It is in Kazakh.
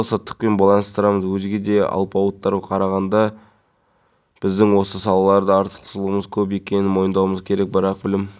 ислам істері жөніндегі министрлік имамдарға екі мүмкіндіктің біреуін таңдауды ұсынып отыр біріншісі уақыт намазын оқып штаттық режимге сәйкес таңерттеңнен кешке дейін